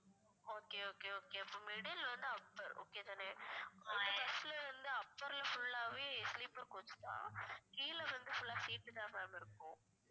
okay okay okay அப்ப middle இல்லைனா upperokay தானே எங்க bus ல வந்து upper full ஆவே sleeper coach தான் கீழே வந்து full ஆ seat தான் ma'am இருக்கும்